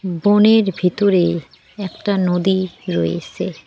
বনের ভিতরে একটা নদী রয়েসে।